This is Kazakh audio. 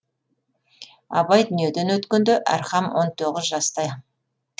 абай дүниеден өткенде әрхам он тоғыз жаста